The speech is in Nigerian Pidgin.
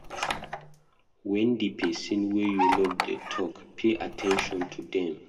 When di person wey you love dey talk, pay at ten tion to them